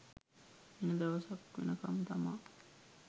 එන දවස් වෙනකම් තමා